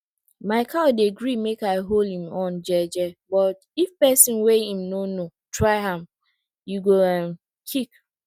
my cow dey gree make i hold em horn jeje but if pesin wey em no know try am e go um kick